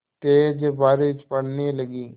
तेज़ बारिश पड़ने लगी